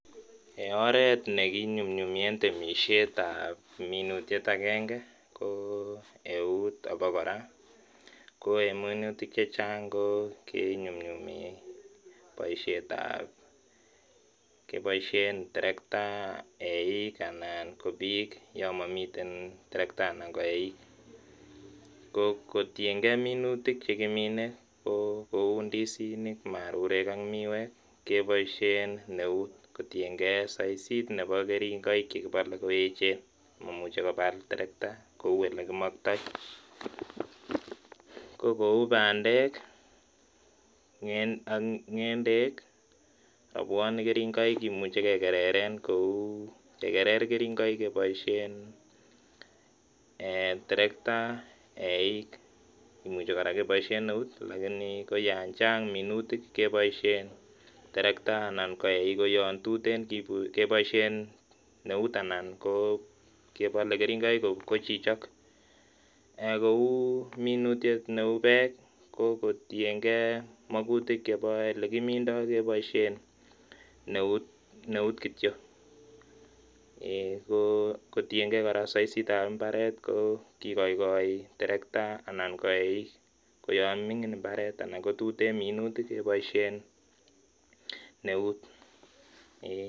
Oret nekonyumnyumi oret Nebo chobet ab mbaret eng minutik cheter Ter ko kereret ab mbaret ko eut en imbaret nemingin anan ko tireta ak kora yaoo mbaret keboishe eut eng mbaret neming'in ak ya oo mbaret keboishe eik